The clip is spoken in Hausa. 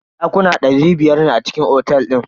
Dakuna dari biyar ne a cikin otel din.